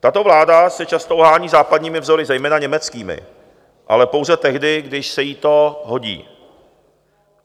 Tato vláda se často ohání západními vzory, zejména německými, ale pouze tehdy, když se jí to hodí.